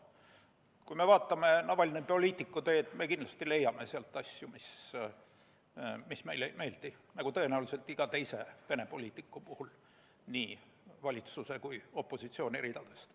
Kui me vaatame Navalnõi poliitikuteed, siis me kindlasti leiame sealt asju, mis meile ei meeldi, nagu tõenäoliselt iga teise Venemaa poliitiku puhul nii valitsuse kui ka opositsiooni ridadest.